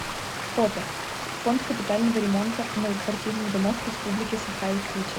фото фонд капитального ремонта многоквартирных домов республики саха якутия